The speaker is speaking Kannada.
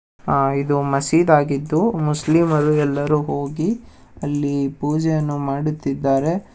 ಆ- ಇದು ಮಸೀದ್ ಆಗಿದ್ದು ಮುಸ್ಲಿಮರು ಎಲ್ಲರೂ ಹೋಗಿ ಅಲ್ಲಿ ಪೂಜೆಯನ್ನು ಮಾಡುತ್ತಿದ್ದಾರೆ.